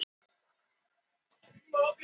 Þetta er einkennilegt blóm.